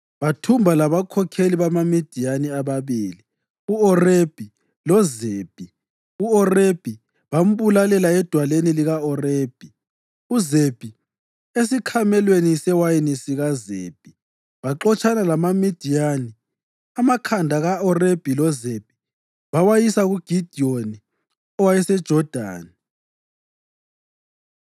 Bathumba labakhokheli bamaMidiyani ababili, u-Orebhi loZebhi. U-Orebhi bambulalela edwaleni lika-Orebhi, uZebhi esikhamelweni sewayini sikaZebhi. Baxotshana lamaMidiyani, amakhanda ka-Orebhi loZebhi bawasa kuGidiyoni owayeseJodani.